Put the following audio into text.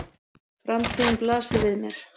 Framtíðin blasir við mér.